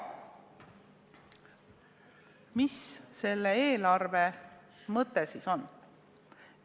Mis selle eelarve mõte siis on?